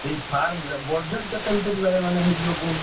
ସେଇ farm କରିଆ Budget କେତେ ଭିତରେ ହେଇଯିବ କୁହନି।